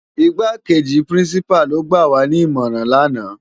Igákéji Pirinsipá ló gbáwá ni imòrán làná